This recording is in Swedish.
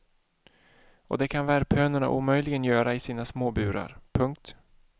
Och det kan värphönorna omöjligen göra i sina små burar. punkt